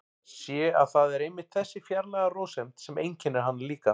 Sé að það er einmitt þessi fjarlæga rósemd sem einkennir hana líka.